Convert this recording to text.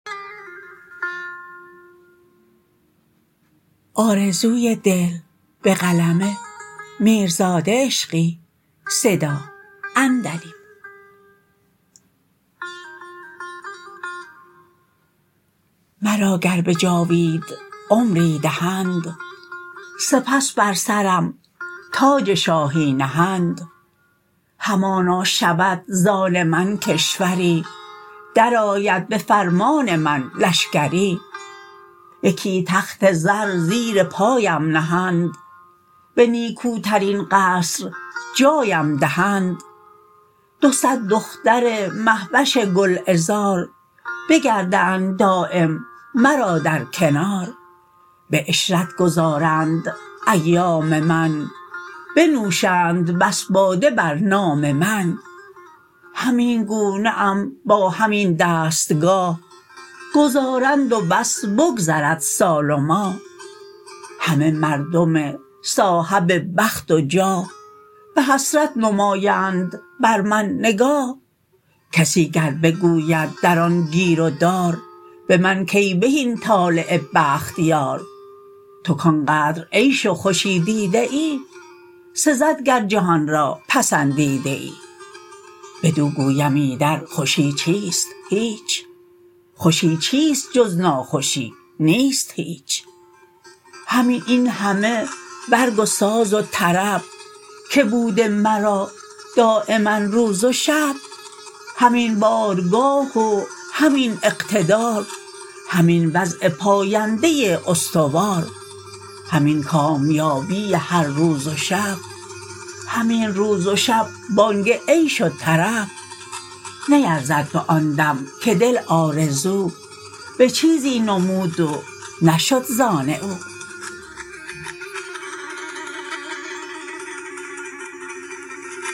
مرا گر به جاوید عمری دهند سپس بر سرم تاج شاهی نهند همانا شود ز آن من کشوری در آید به فرمان من لشکری یکی تخت زر زیر پایم نهند به نیکوترین قصر جایم دهند دو صد دختر مهوش گلعذار بگردند دایم مرا در کنار به عشرت گذارند ایام من بنوشند بس باده بر نام من همین گونه ام با همین دستگاه گذارند و بس بگذرد سال و ماه همه مردم صاحب بخت و جاه به حسرت نمایند بر من نگاه کسی گر بگوید در آن گیر و دار به من کای بهین طالع بخت یار تو کانقدر عیش و خوشی دیده ای سزد گر جهان را پسندیده ای بدو گویم ایدر خوشی چیست هیچ خوشی چیست جز ناخوشی نیست هیچ همین این همه برگ و ساز و طرب که بوده مرا دایما روز و شب همین بارگاه و همین اقتدار همین وضع پاینده استوار همین کامیابی هر روز و شب همین روز و شب بانگ عیش و طرب نیرزد به آن دم که دل آرزو به چیزی نمود و نشد زآن او